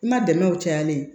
I ma dɛmɛw cayali ye